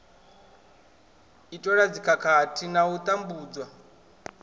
itelwa dzikhakhathi na u tambudzwa